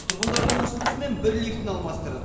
тұрғындардың ұсынысымен бір лифтіні алмастырдық